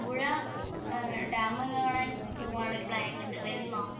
Malampuzha dam കാണാന്‍ ഒരു planning ഉണ്ട്. വരുന്നോ.